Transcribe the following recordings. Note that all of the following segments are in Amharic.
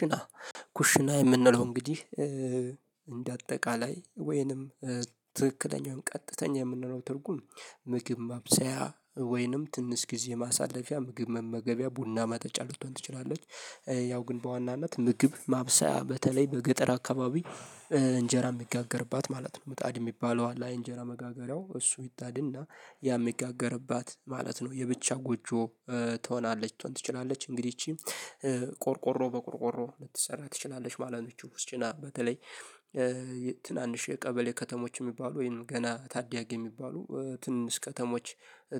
ኩሽና ኩሽና የምንለው እንግዲህ እንደ አጠቃላይ ወይንም ትክክለኛውን ቀጥተኛ የምንለው ትርጉም ምግብ ማብሰያ ወይንም ትንስ ጊዜ ማሳለፊያ ምግብ መመገቢያ ቡና መጠጫ ልትሆን ትችላለች። ያው ግን በዋናነት ምግብ ማብሰያ በተለይ በገጠር አካባቢ እንጀራ የሚጋገርባት ማለት ነው ምጣድ የሚባለው አላይ እንጀራ መጋገሪያው እሱ ይጣድና ያ የሚጋገርባት ማለት ነው የብቻ ጎጆ ትሆናለች ልትሆን ትችላለች እንግዲህ ይቺ ቆርቆሮ በቆርቆሮ ልትሰራ ትችላለች ማለት ነው። ይህች ኩሽስና በተለይ ትናንሽ የቀበሌ ከተሞች የሚባሉ ወይም ገና ታዳያጊ የሚባሉ ትንሽ ከተሞች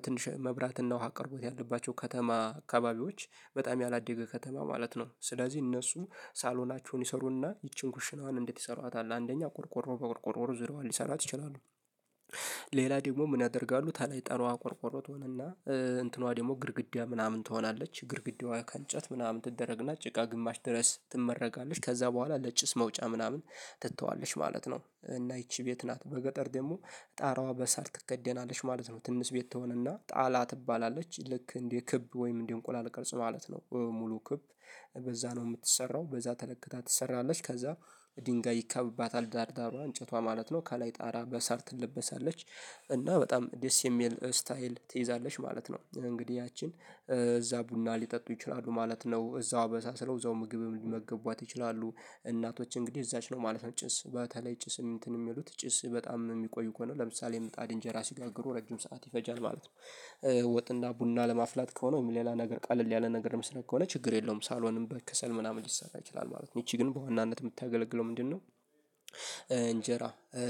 ትንሽ መብራትና ውሃ አቅርቦት ያለባቸው ከተማ አካባቢዎች በጣም ያላደገ ከተማ ማለት ነው። ስለዚህ እነሱ ሳሎናቸውን ይሰሩና ይቺን ኩሽናዋን እንዴት ይሰሯታል አንደኛ ቆርቆሮ በቆርቆሮ ዞሪያዋን ሊሰራት ይችላሉ። ሌላ ደግሞ ምን ያደርጋሉ ታላይ ጠራዋ አቆርቆሮት ነውና እንትኗ ደግሞ ግድግዳ ምናምን ትሆናለች ግድግዳዋ ከእንጨት ምናምን ትደረግና ጭቃ ግማሽ ድረስ ትመረጋለች ከዛ በኋላ ለጭስ መውጫ ምናምን ትተዋለች ማለት ነው። እና ይቺ ቤት ናት በገጠር ደግሞ ጣራዋ በሰአት ትከደናለች ማለት ነው። ትንስ ቤት ትሆንና ጣላ ትባላለች ልክ እንዴ ክብ ወይም እንዴ እንቁላል ቅልጽ ማለት ነው። ሙሉ ክብ በዛ ነው የምትሰራው በዛ ተለክታ ትሰራለች ከዛ ድንጋይ ይከብባታል ዳር ዳሯ እንጨቷ ማለት ነው ከላይ ጣራ በሳር ትለበሳለች። እና በጣም ደስ የሚል ስታይል ትይዛለሽ ማለት ነው እንግዲህ ያችን እዛ ቡና ሊጠጡ ይችላሉ ማለት ነው እዛው በሳስለው እዛው ምግብ ሊመገቧት ይችላሉ እናቶች እንግዲህ እዛች ነው ማለት ነው ጭስ በተለይ ጭስ እንትን የሚሉት ጭስ በጣም የሚቆዩ እኮ ነው ለምሳሌ የምጣድ እንጀራ ሲጋግሩ ረጅም ሰዓት ይፈጃል ማለት ነው። ወጥ እና ቡና ለማፍላት ከሆነ ወይም ሌላ ነገር ቃል ያለ ነገር ምስራቅ ከሆነ ችግር የለውም ሳሎንም በክሰል ምናምን ሊሰጣ ይችላል ማለት ነው ይቺ ግን በዋናነት የምታገለግለው ምንድነው? እንጀራ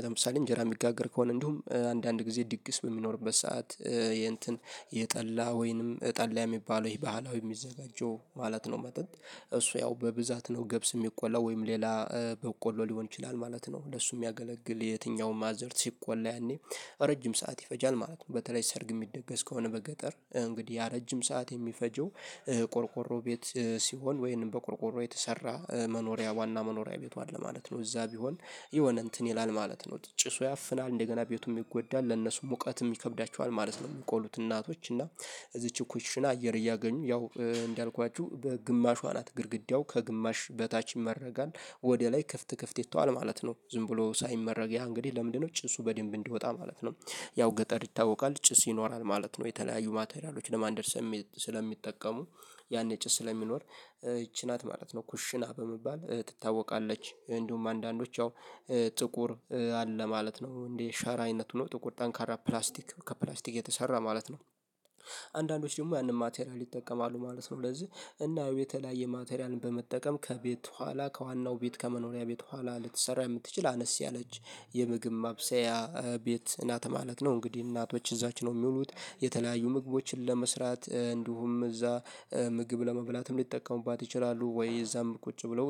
ለምሳሌ እንጀራ የሚጋገር ከሆነ እንዲሁም አንዳንድ ጊዜ ድግስ በሚኖርበት ሰዓት የእንትን የጠላ ወይንም ጠላ የሚባለው ይሄ ባህላዊ የሚዘጋጁ ማለት ነው። መጠጥ እሱ ያው በብዛት ነው ገብስ የሚቆላው ወይም ሌላ በቆሎ ሊሆን ይችላል ማለት ነው። ለሱ የሚያገለግል የትኛውም ማዘር ሲቆላ ያኔ ረጅም ሰዓት ይፈጃል ማለት ነው። በተለይ ሰርግ የሚደገስ ከሆነ በገጠር እንግዲህ ያ ረጅም ሰዓት የሚፈጀው ቆርቆሮ ቤት ሲሆን ወይንም በቆርቆሮ የተሰራ መኖሪያ ዋና መኖሪያ ቤቱ አለ ማለት ነው። እዛ ቢሆን የሆነ እንትን ይላል ማለት ነው ጭሱ ያፍናል እንደገና ቤቱም ይጎዳል ለነሱ ሙቀትም ይከብዳቸዋል ማለት ነው። የሚቆሉት እናቶች እና እዚች ኩሽና አየር እያገኙ ያው እንዳልኳችሁ በግማሽዋ ናት ግድግዳው ከግማሽ በታች ይመረጋል ወደ ላይ ክፍት ክፍት ይተዋል ማለት ነው ዝም ብሎ ሳይመረግ ያ እንግዲህ ለምንድነው ጭሱ በደንብ እንዲወጣ ማለት ነው? ያው ገጠር ይታወቃል ጭስ ይኖራል ማለት ነው የተለያዩ ማቴሪያሎች ለማንደድ ስለሚጠቀሙ ያኔ ጭስ ስለሚኖር ይቺ ናት ማለት ነው ኩሽና በመባል ትታወቃለች። እንዲሁም አንዳንዶች ያው ጥቁር አለ ማለት ነው እንዴ ሸራ አይነቱ ነው ጥቁር ጠንካራ ፕላስቲክ ከፕላስቲክ የተሰራ ማለት ነው። አንዳንዶች ደግሞ ያንን ማቴሪያል ይጠቀማሉ ማለት ነው ለዚህ እናው የተለያየ ማቴሪያልን በመጠቀም ከቤት ኋላ ከዋናው ቤት ከመኖሪያ ቤት ኋላ ልትሰራ የምትችል አነስ ያለች የምግብ ማብሰያ ቤት ናት ማለት ነው። እንግዲህ እናቶች እዛች ነው የሚውሉት የተለያዩ ምግቦችን ለመስራት እንዲሁም እዛ ምግብ ለመብላትም ሊጠቀሙባት ይችላሉ ወይ እዛም ቁጭ ብለው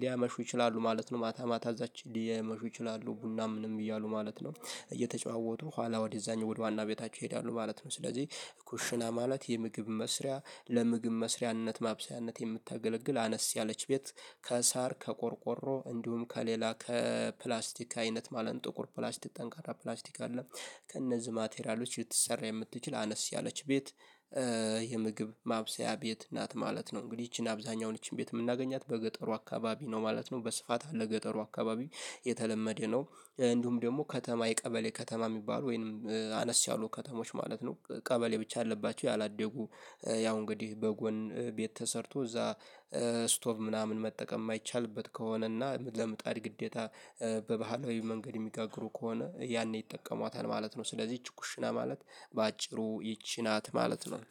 ሊያመሹ ይችላሉ ማለት ነው ማታ ማታ እዛች ሊመሹ ይችላሉ ቡናም ምንም እያሉ ማለት ነው። እየተጫወቱ ኋላ ወደ ዛኝ ወደ ዋና ቤታቸው ይሄዳሉ ማለት ነው። ስለዚህ ኩሽና ማለት የምግብ መስሪያ ለምግብ መስሪያነት ማብሰያነት የምታገለግል አነስ ያለች ቤት። ከሳር ከቆርቆሮ እንዲሁም ከሌላ ከፕላስቲክ አይነት ማለን ጥቁር ፕላስቲክ ጠንካራ ፕላስቲክ አለ። ከእነዚህ ማቴሪያሎች የተሰራ የምትችል አነስ ያለች ቤት። የምግብ ማብሰያ ቤት ናት ማለት ነው። እንግዲህ ይቺን አብዛኛውን ይቺን ቤት የምናገኛት በገጠሩ አካባቢ ነው ማለት ነው በስፋት አለ ገጠሩ አካባቢ የተለመደ ነው። እንዲሁም ደግሞ ከተማ የቀበሌ ከተማ የሚባሉ ወይንም አነስ ያሉ ከተሞች ማለት ነው። ቀበሌ ብቻ አለባቸው ያላደጉ ያው እንግዲህ በጎን ቤት ተሰርቶ እዛ ስቶቭ ምናምን መጠቀም የማይቻልበት ከሆነ እና ለምጣድ ግዴታ በባህላዊ መንገድ የሚጋግሩ ከሆነ ያኔ ይጠቀሟታል ማለት ነው። ስለዚህ ይቺ ኩሽና ማለት በአጭሩ ይቺ ናት ማለት ነው።